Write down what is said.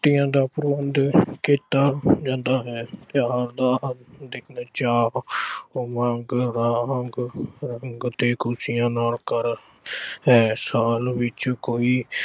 ਤੀਆਂ ਦਾ ਪ੍ਰਬੰਧ ਕੀਤਾ ਜਾਂਦਾ ਹੈ। ਤਿਓਹਾਰ ਚਾਅ, ਉਮੰਗ, ਤੇ ਖੁਸ਼ੀਆਂ ਹੈ। ਸਾਲ ਵਿੱਚ ਕੋਈ।